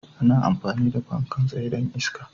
ana amfani da fankan tsaye don iska.